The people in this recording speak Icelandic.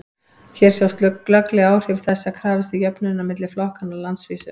hér sjást glögglega áhrif þess að krafist er jöfnunar milli flokkanna á landsvísu